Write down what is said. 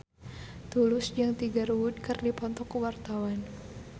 Tulus jeung Tiger Wood keur dipoto ku wartawan